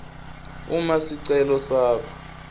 uma sicelo sakho